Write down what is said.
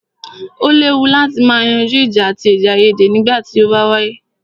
O léwu láti má yanjú ìjà àti èdèaiyèdè nígbà tí o bá wáyé.